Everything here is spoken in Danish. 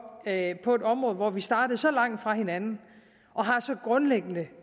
at vi på et område hvor vi startede så langt fra hinanden og har så grundlæggende